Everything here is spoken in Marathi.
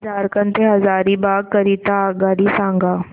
मला झारखंड से हजारीबाग करीता आगगाडी सांगा